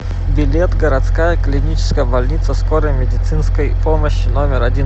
билет городская клиническая больница скорой медицинской помощи номер один